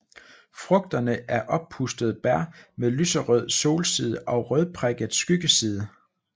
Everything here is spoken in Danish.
Frugterne er oppustede bær med lyserød solside og rødprikket skyggeside